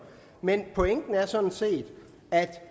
men pointen er sådan set at